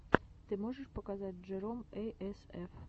ты можешь показать джером эй эс эф